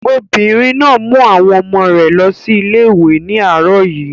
Obìnrin náà mú àwọn ọmọ rẹ̀ lọ sí ilé ìwé ní àárọ̀ yìí.